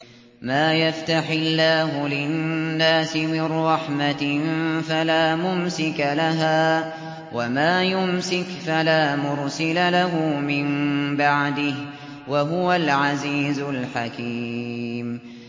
مَّا يَفْتَحِ اللَّهُ لِلنَّاسِ مِن رَّحْمَةٍ فَلَا مُمْسِكَ لَهَا ۖ وَمَا يُمْسِكْ فَلَا مُرْسِلَ لَهُ مِن بَعْدِهِ ۚ وَهُوَ الْعَزِيزُ الْحَكِيمُ